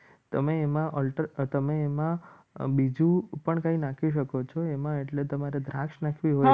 તમે એમાં તમે એમાં બીજું પણ કંઈ નાખી શકો છો એમાં એટલે તમારે દ્રાક્ષ નાખવી હોય.